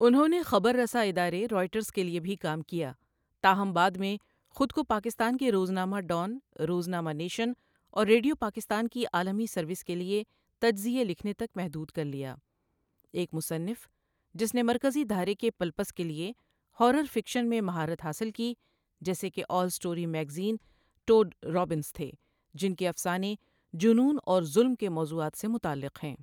انہوں نے خبر رساں ادارے رائٹرز کے لیے بھی کام کیا تاہم بعد میں خود کو پاکستان کے روزنامہ ڈان، روزنامہ نیشن اور ریڈیو پاکستان کی عالمی سروس کے لیے تـجزیئے لکھنے تک محدود کر لیا ایک مصنف جس نے مرکزی دھارے کے پلپس کے لئے ہارر فکشن میں مہارت حاصل کی، جیسے کہ All Story magazine, Tod Robbins تھے، جن کے افسانے جنون اور ظلم کے موضوعات سے متعلق ہیں۔